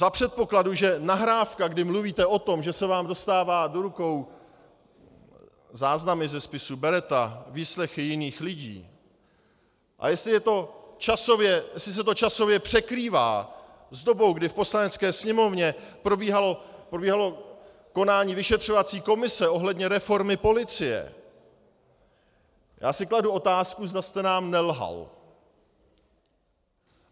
Za předpokladu, že nahrávka, kdy mluvíte o tom, že se vám dostává do rukou záznam ze spisu Beretta, výslechy jiných lidí, a jestli se to časově překrývá s dobou, kdy v Poslanecké sněmovně probíhalo konání vyšetřovací komise ohledně reformy policie, já si kladu otázku, zda jste nám nelhal.